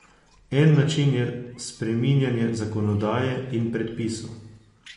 En način je spreminjanje zakonodaje in predpisov.